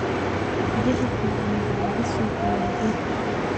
Uujasha ficn waxa lakasogoya geedhga adag.